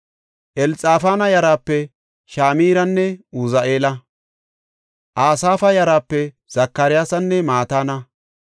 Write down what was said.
Elxafaana yaraape Shimiranne Uzi7eela. Asaafa yaraape Zakariyasanne Mataana.